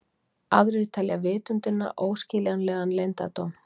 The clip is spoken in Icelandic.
Aðrir telja vitundina óskiljanlegan leyndardóm.